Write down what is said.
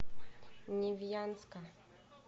невьянска